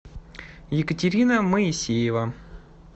екатерина моисеева